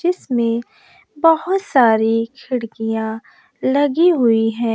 जिसमें बहोत सारी खिड़कियां लगी हुई है।